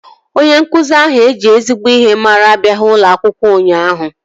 Onye nkụzi ahụ eji ezigbo ihe mara abịaghị n'ulo akwụkwọ ụnyaahụ